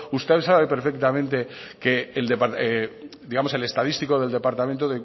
usted sabe perfectamente que el estadístico del departamento